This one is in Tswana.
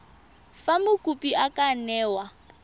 fa mokopi a ka newa